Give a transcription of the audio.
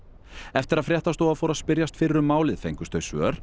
eftir að fréttastofa fór að spyrjast fyrir um málið fengust þau svör